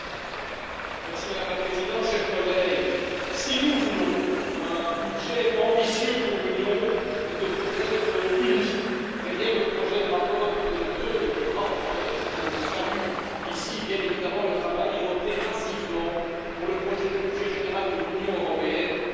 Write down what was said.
Madame la Présidente, chers collègues, si nous voulons un budget ambitieux pour l'Union, nous devons être unis derrière le projet de rapport de nos deux rapporteurs, dont je salue ici, bien évidemment, le travail, et voter massivement pour le projet de budget général de l'Union européenne pour l'année